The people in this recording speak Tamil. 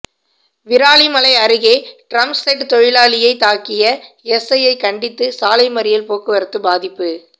விராலிமலை அருகே டிரம்செட் தொழிலாளியை தாக்கிய எஸ்ஐயை கண்டித்து சாலைமறியல் போக்குவரத்து பாதிப்பு